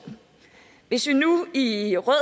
hvis vi nu i rød